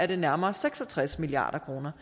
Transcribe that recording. det nærmere seks og tres milliard kroner